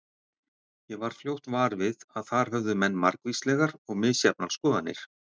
Ég varð fljótt var við að þar höfðu menn margvíslegar og misjafnar skoðanir.